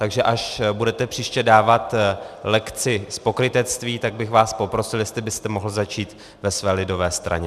Takže až budete příště dávat lekci z pokrytectví, tak bych vás poprosil, jestli byste mohl začít ve své lidové straně.